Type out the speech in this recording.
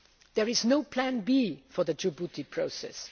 There is no plan B for the Djibouti